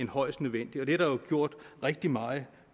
højst nødvendigt og det er der jo gjort rigtig meget